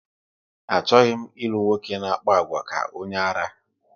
Achọghị m ilu nwoke na-akpa àgwà ka onye ara